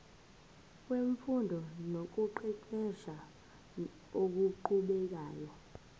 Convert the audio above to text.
wemfundo nokuqeqesha okuqhubekayo